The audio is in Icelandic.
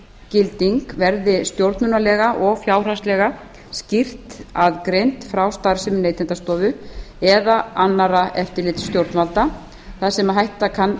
faggilding verði stjórnunarlega og fjárhagslega skýrt aðgreind frá starfsemi neytendastofu eða annarra eftirlitsstjórnvalda þar sem hætta kann